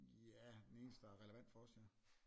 Ja den eneste der er relevant for os ja